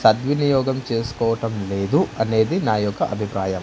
సద్వినియోగం చేసుకోవటం లేదు అనేది నా యొక్క అభిప్రాయం.